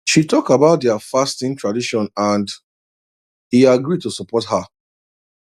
she talk about their their fasting tradition and e agree to support her